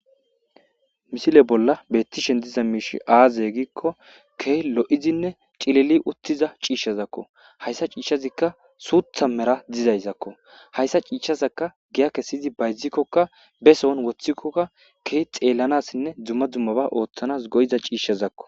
Misile bolla bettishen diza miishi aaze giikko key lo'izinne cileli uttiza ciishshazakko hayssa ciishshazikka suutha mera dizayzakko hayssa ciishshazaka giya kesiyzi bayzikkokka be soon woththikkokka key xeellanassinne dzumma dummaba ooththanas goyiza ciishshazakko.